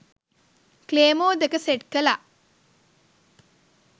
claymore දෙක set කළා